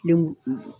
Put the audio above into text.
Denw